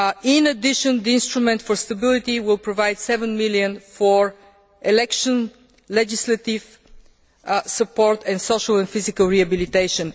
In addition, the instrument for stability will provide EUR 7 million for elections, legislative support and social and physical rehabilitation.